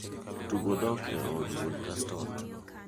tugo dok e od wuon gaston